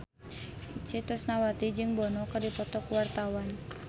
Itje Tresnawati jeung Bono keur dipoto ku wartawan